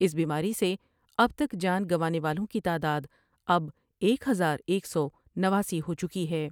اس بیماری سے اب تک جان گنوانے والوں کی تعداداب ایک ہزار ایک سو نواسی ہو چکی ہے ۔